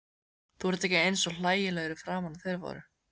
Þú ert ekki eins hlægilegur í framan og þeir voru.